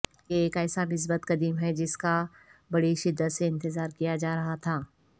یہ ایک ایسا مثبت قدم ہے جس کا بڑی شدت سے انتظار کیا جارہا تھا